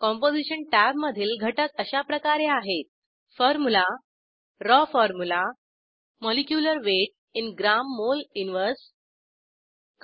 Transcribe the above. composition tab मधील घटक अशाप्रकारे आहेत फॉर्म्युला राव फॉर्म्युला मॉलिक्युलर वेट इन gमोल 1 grammole इन्व्हर्स